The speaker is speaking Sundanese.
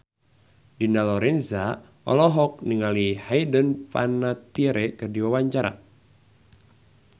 Dina Lorenza olohok ningali Hayden Panettiere keur diwawancara